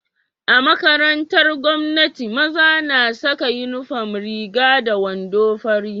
A makarantar gwamnati maza na Saka inufom Riga da wando fari